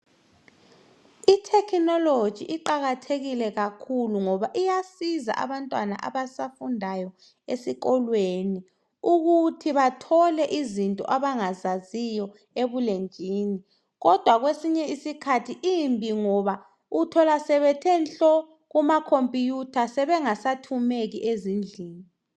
Ithekhinoloji iqakathekile kakhulu ngoba iyasiza abantwana abasafundayo esikolweni ukuthi bathole izinto abangazaziyo ebulenjini kodwa kwesinye isikhathi imbi ngoba uthola sebethe nhlo kumakhomputha sebengasathumeki ezindlini.